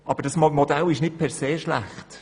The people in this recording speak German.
Aber das Modell ist nicht per se schlecht.